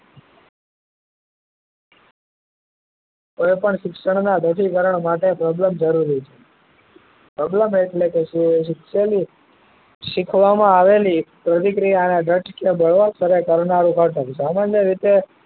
તો પણ શિક્ષણ નાં રસીકરણ માટે પ્રબલ્ન જરૂરી છે પ્રબલન એટલે શું કે શિક્ષણે સીખવા માં આવેલી પ્રતિક્રિયા અને દ્રઢ એટલા કરવા નું નાટક સામાન્ય રીતે